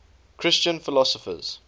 christian philosophers